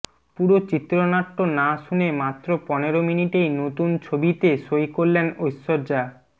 পুরো চিত্রনাট্য না শুনে মাত্র পনেরো মিনিটেই নতুন ছবিতে সই করলেন ঐশ্বর্যা